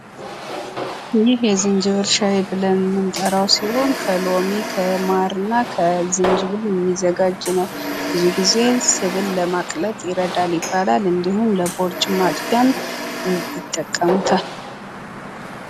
ይህ የዝንጂብል ሻይ ብለን የምንጠራዉ ሲሆን ፤ ከሎሚ፣ ከማር እና ከዝንጂብል የሚዘጋጅ ነው ፤ ብዙ ጊዜ ስብን ለማቅለጥ ይረዳል ይባላል ፤ እንዲሁም ለቦርጭ ማጥፊያም ይጠቀሙታል፡፡